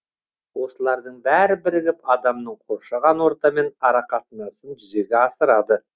осылардың бәрі бірігіп адамның қоршаған ортамен арақатынасын жүзеге асырады